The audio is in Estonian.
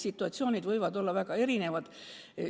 Situatsioonid võivad olla väga erinevad.